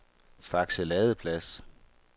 Fakse Ladeplads